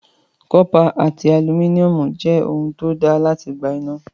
Cọ́pà àti alumíníọ̀mù jẹ́ ohun tí ó dáa láti gba iná.